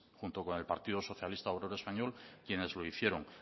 junto con el partido socialista obrero español quienes lo hicieron